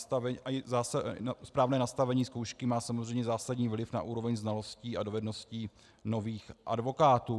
Správné nastavení zkoušky má samozřejmě zásadní vliv na úroveň znalostí a dovedností nových advokátů.